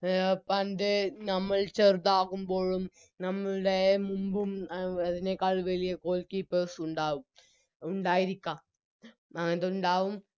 A പണ്ട് നമ്മൾ ചെറുതാകുമ്പോഴും നമ്മളുടെ മുമ്പും എ അതിനേക്കാൾ വലിയ Goalkeepers ഉണ്ടാവും ഉണ്ടായിരിക്കാം അത്ണ്ടാവും